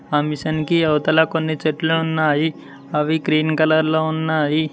ఆ మిషన్ కి అవతల కొన్ని చెట్లు ఉన్నాయి అవి గ్రీన్ కలర్ లో ఉన్నాయి.